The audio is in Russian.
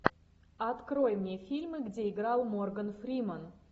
открой мне фильмы где играл морган фриман